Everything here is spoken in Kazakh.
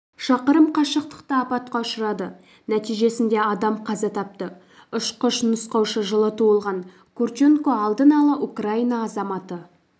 шақырым қашықтықта апатқа ұшырады нәтижесінде адам қаза тапты ұшқыш-нұсқаушы жылы туылған курченко алдын-ала украина азаматы